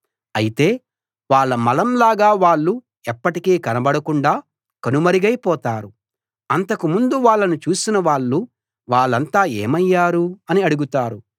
అయితే వాళ్ళ మలం లాగా వాళ్ళు ఎప్పటికీ కనబడకుండా కనుమరుగైపోతారు అంతకు ముందు వాళ్ళను చూసిన వాళ్ళు వాళ్ళంతా ఏమయ్యారు అని అడుగుతారు